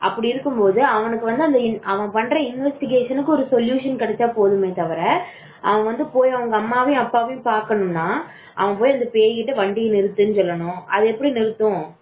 இருக்கும்போது அவனுக்கு அவன் பண்ற investigation க்கு ஒரு solution கிடைச்சா போதுமே தவிர அவன் வந்து அவங்க அம்மா அப்பாவை பாக்கணும்னா அந்த பேய் கிட்ட வண்டி நிறுத்து அப்டினு சொல்லணும் அது எப்படி நிறுத்தும்